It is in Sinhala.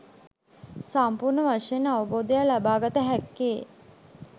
සම්පූර්ණ වශයෙන් අවබෝධයක් ලබාගත හැක්කේ